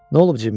Nə olub Cimmiyə?